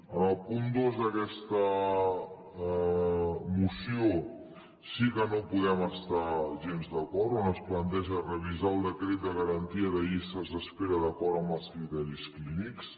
amb el punt dos d’aquesta moció sí que no hi podem estar gens d’acord on es planteja revisar el decret de garantia de llistes d’espera d’acord amb els criteris clínics